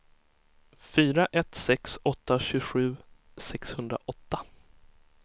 fyra ett sex åtta tjugosju sexhundraåtta